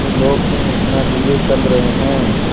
ये लोग क्यों इतना धीरे चल रहे हैं